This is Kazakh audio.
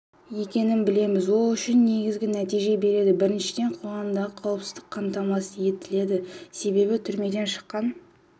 екенін білеміз ол үш негізгі нәтиже береді біріншіден қоғамдағы қауіпсіздік қамтамасыз етіледі себебі түрмеден шыққан